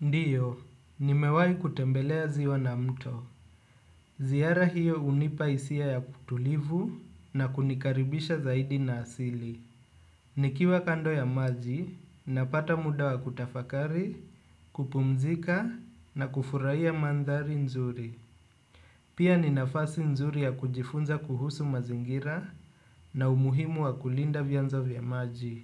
Ndiyo, nimewai kutembelea ziwa na mto. Zihara hiyo unipaisia ya kutulivu na kunikaribisha zaidi na asili. Nikiwa kando ya maji, napata muda wa kutafakari, kupumzika na kufuraiya mandhari nzuri. Pia ninafasi nzuri ya kujifunza kuhusu mazingira na umuhimu wa kulinda vyanzo vya maji.